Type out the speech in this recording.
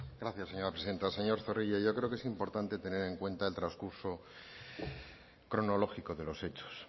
gracias señora presidenta señor zorrilla yo creo que es importante tener en cuenta el transcurso cronológico de los hechos